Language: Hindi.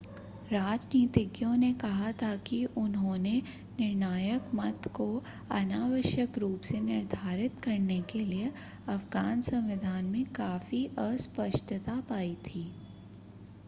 राजनीतिज्ञों ने कहा कि उन्होंने निर्णायक मत को अनावश्यक रूप से निर्धारित करने के लिए अफ़गान संविधान में काफी अस्पष्टता पाई थी